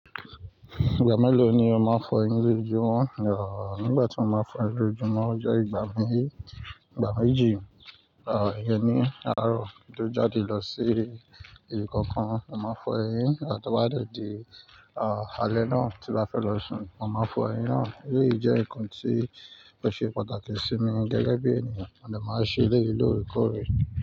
Ìgbà mélòó ni o máa ń fọ ẹnu lojoju mọ́? Rárá, nígbà tí mo máa fọ ẹnu ojú mọ́, ó jẹ́ ìgbà mí, ìgbà méjì. Rárá, ìyẹn ni. Áàrọ̀ kí tó jáde lọ sí ibì kankan, mo máa fọ ẹyin, àti to bá dẹ̀ dí, àlè náà tí bá fẹ́ lọ sùn, mo máa fọ ẹyin náà. Eléyi jẹ nnkan tí ó ṣe pàtàkì sí mi gẹ́gẹ́ bí ènìyàn, mo de máa ṣe eleyìí lóre kọ́rè.